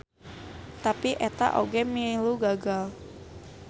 Tapi eta oge milu gagal.